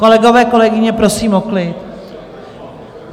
Kolegové, kolegyně, prosím o klid.